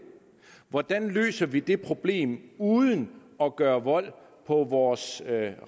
hvordan løser vi det problem uden at gøre vold på vores